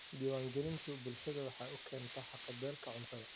Diiwaangelintu waxay bulshada u keentaa haqab-beelka cuntada.